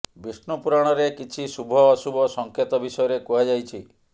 ବିଷ୍ଣୁ ପୁରାଣରେ କିଛି ଶୁଭ ଅଶୁଭ ସଂକେତ ବିଷୟରେ କୁହାଯାଇଛି